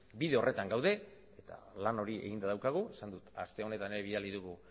bide horretan gaude eta lan hori eginda daukagu esan dut aste honetan bidali dugu